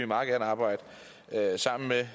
meget gerne arbejde sammen med